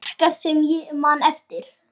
Ekkert sem ég man eftir.